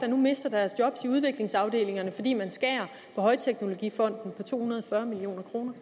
nu mister deres job i udviklingsafdelingerne fordi man skærer to hundrede og fyrre million kroner